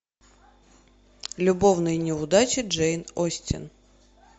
любовные неудачи джейн остин